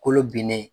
Kolo binnen